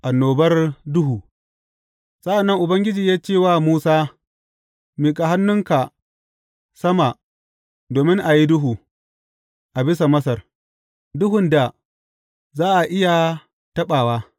Annobar duhu Sa’an nan Ubangiji ya ce wa Musa, Miƙa hannunka sama domin a yi duhu a bisa Masar, duhun da za a iya taɓawa.